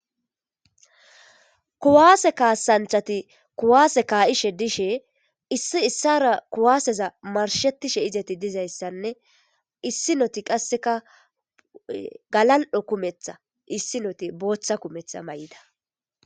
kuwaase kaasanthati kuwaase kaayishe dishe issi issara kuwaaseza marshetishe izeti dizayssanne issi noti qasseka galal7o kumetha issi noti booththa kumetha may7ida